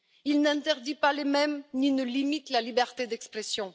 il n'interdit pas les mèmes ni ne limite la liberté d'expression.